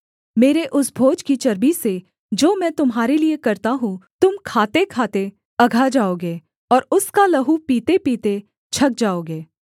मेरे उस भोज की चर्बी से जो मैं तुम्हारे लिये करता हूँ तुम खातेखाते अघा जाओगे और उसका लहू पीतेपीते छक जाओगे